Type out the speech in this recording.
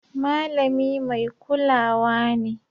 Malami mai kulawa ne